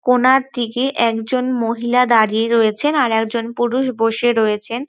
কোণার দিকে একজন মহিলা দাঁড়িয়ে রয়েছেন আরেকজন পুরুষ বসে রয়েছেন।